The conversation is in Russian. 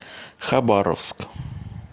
хабаровск